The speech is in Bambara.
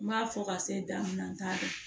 N b'a fɔ ka se danni ma n t'a dɔn